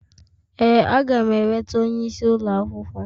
Ee, aga m eleta onye isi ụlọ akwụkwọ